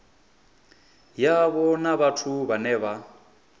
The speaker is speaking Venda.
yavho na vhathu vhane vha